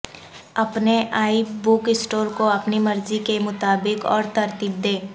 اپنے e book store کو اپنی مرضی کے مطابق اور ترتیب دیں